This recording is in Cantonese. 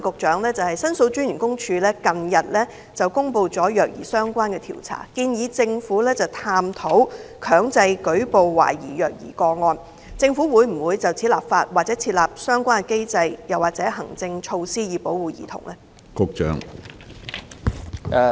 主席，申訴專員公署近日公布與虐兒相關的調查報告，建議政府探討強制舉報懷疑虐兒個案，我想問局長政府會否就此立法、設立相關機制或行政措施，以保護兒童？